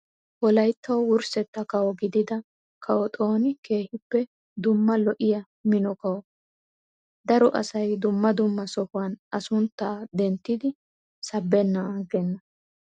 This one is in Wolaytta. Wolayittawu wurssetta kawo gidida kawo xooni keehippe dumma lo''iyaa mino kawoo. daro asayi dumma dumma sohuwaan A sunttaa denttidi sabbennaan aggenna.